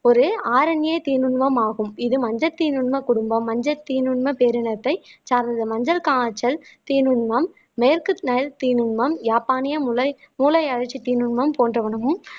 ஒரு ஆரண்ய தீநுண்மம் ஆகும் இது மஞ்சள் தீநுண்மம் குடும்பம் மஞ்சள் தீநுண்மம் பேரினத்தை சார்ந்த மஞ்சள் காய்ச்சல் தீநுண்மம் மேற்கு நைல் தீநுண்மம் யாப்பானிய முலை மூளை போன்ற உணவும்